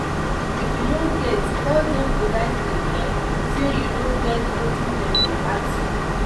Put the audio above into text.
if you no get tell them politely um sey you no get wetin dem dey ask for